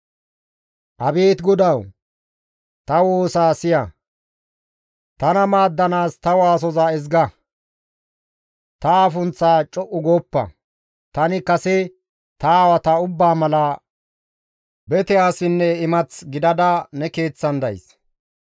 «Abeet GODAWU! Ta woosa siya; tana maaddanaas ta waasoza ezga. Ta afunththaa co7u gooppa; tani kase ta aawata ubbaa mala bete asinne imath gidada ne keeththan days.